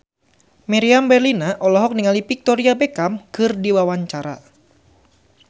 Meriam Bellina olohok ningali Victoria Beckham keur diwawancara